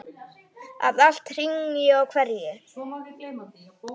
Að allt hrynji og hverfi.